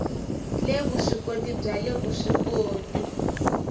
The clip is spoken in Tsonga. le vuswikoti bya le vuswikoti